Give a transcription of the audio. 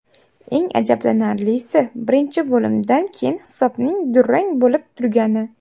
Eng ajablanarlisi, birinchi bo‘limdan keyin hisobning durang bo‘lib turgani”.